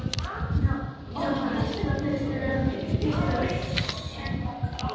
Jóhannes: Hvað finnst þér um íslenskt söngfólk?